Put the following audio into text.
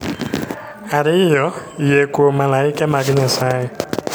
Ariyo, Yie Kuom Malaike mag Nyasaye.